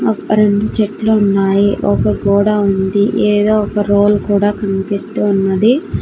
అ రెండు చెట్లు ఉన్నాయి ఒక గోడ ఉంది ఏదో ఒక రోల్ కూడా కన్పిస్తూ ఉన్నది.